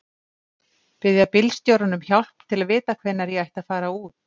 Biðja bílstjórann um hjálp til að vita hvenær ég ætti að fara út.